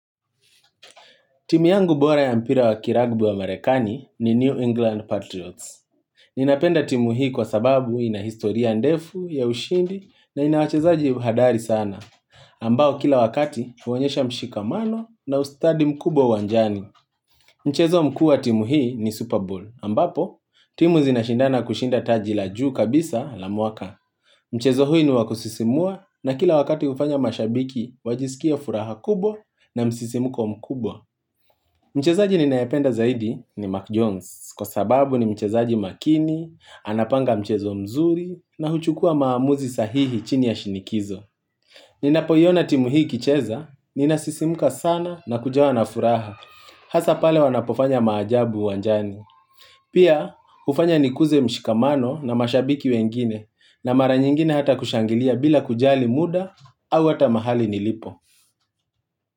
Timu yangu bora ya mpira wa kilabu ya marekani ni New England Patriots. Ninapenda timu hii kwa sababu inahistoria ndefu ya ushindi na inawachezaji hodari sana. Ambao kila wakati huonyesha mshikamano na ustadi mkubwa uwanjani. Mchezo mkuu wa timu hii ni Super Bowl. Ambapo, timu zinashindana kushinda taji la juu kabisa la mwaka. Mchezo huu ni wa kusisimua na kila wakati hufanya mashabiki wajisikie furaha kubwa na msisimko mkubwa. Mchezaji ninayependa zaidi ni Mark Jones kwa sababu ni mchezaji makini, anapanga mchezo mzuri na huchukua maamuzi sahihi chini ya shinikizo. Ninapoiona timu hii ikicheza, ninasisimka sana na kujawa na furaha, hasa pale wanapofanya maajabu uwanjani. Pia hufanya nikuze mshikamano na mashabiki wengine na mara nyingine hata kushangilia bila kujali muda au hata mahali nilipo.